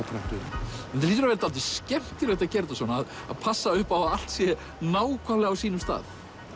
vera skemmtilegt að gera þetta svona passa upp á að allt sé á sínum stað